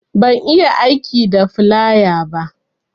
Ban iya aiki da filaya ba